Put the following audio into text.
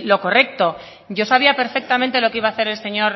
lo correcto yo sabía perfectamente lo que iba a hacer el señor